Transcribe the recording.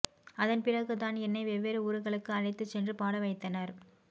அதன்பிறகு தான் என்னை வெவ்வேறு ஊர்களுக்கு அழைத்துச் சென்று பாட வைத்தனர்